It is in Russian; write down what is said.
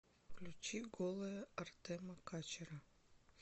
включи голая артема качера